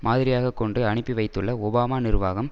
மாதிரியாக கொண்டு அனுப்பி வைத்துள்ள ஒபாமா நிர்வாகம்